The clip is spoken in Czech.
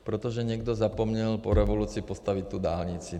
Protože někdo zapomněl po revoluci postavit tu dálnici.